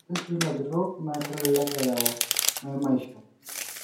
etejo sii lajurok naa kelelek eyau maimashio